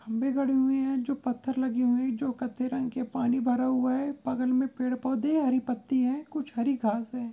खम्बे गड़े हुए है जो पत्थर लगि हुई है जो कत्थई रंग के पानी भर हुआ है बगल मे पेड़ पौधे हरी पत्ती है कुछ हरी घास है।